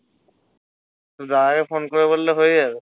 তোর দাদাকে ফোন করে বললে হয়ে যাবে?